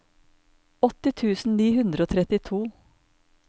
åtti tusen ni hundre og trettito